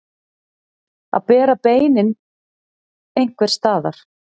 Að bera beinin einhvers staðar